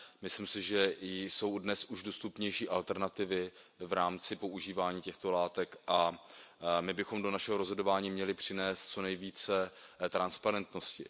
Myslím si, že jsou dnes už dostupnější alternativy v rámci používání těchto látek a my bychom do našeho rozhodování měli přinést co nejvíce transparentnosti.